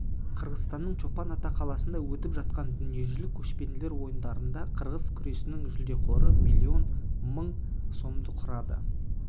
қырғызстанның чолпан-ата қаласында өтіп жатқан дүниежүзілік көшпенділер ойындарында қырғыз күресінің жүлдеқоры млн мың сомды құрады ал